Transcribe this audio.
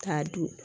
K'a dun